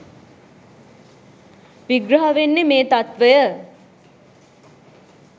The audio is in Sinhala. විග්‍රහ වෙන්නේ මේ තත්ත්වය.